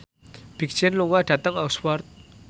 Big Sean lunga dhateng Oxford